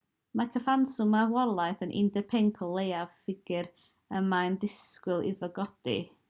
mae'r cyfanswm marwolaethau yn 15 o leiaf ffigur y mae disgwyl iddo godi